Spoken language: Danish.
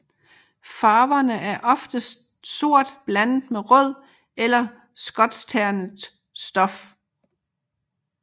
Farverne er oftest sort blandet med rød eller skotskternet stof